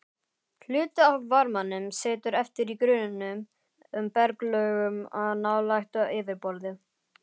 Hluti af varmanum situr eftir í grunnum berglögum nálægt yfirborði.